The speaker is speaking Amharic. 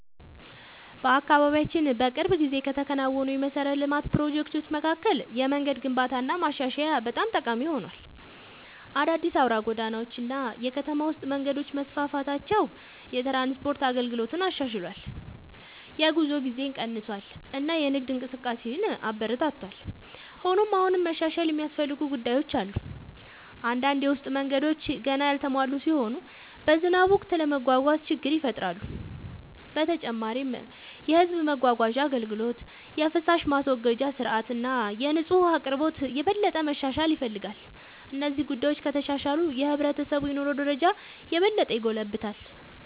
በአካባቢያችን በቅርብ ጊዜ ከተከናወኑ የመሠረተ ልማት ፕሮጀክቶች መካከል የመንገድ ግንባታና ማሻሻያ በጣም ጠቃሚ ሆኗል። አዳዲስ አውራ ጎዳናዎች እና የከተማ ውስጥ መንገዶች መስፋፋታቸው የትራንስፖርት አገልግሎትን አሻሽሏል፣ የጉዞ ጊዜን ቀንሷል እና የንግድ እንቅስቃሴን አበረታቷል። ሆኖም አሁንም መሻሻል የሚያስፈልጉ ጉዳዮች አሉ። አንዳንድ የውስጥ መንገዶች ገና ያልተሟሉ ሲሆኑ በዝናብ ወቅት ለመጓጓዝ ችግር ይፈጥራሉ። በተጨማሪም የሕዝብ ማጓጓዣ አገልግሎት፣ የፍሳሽ ማስወገጃ ሥርዓት እና የንጹህ ውኃ አቅርቦት የበለጠ መሻሻል ይፈልጋሉ። እነዚህ ጉዳዮች ከተሻሻሉ የሕብረተሰቡ የኑሮ ደረጃ የበለጠ ይጎለብታል።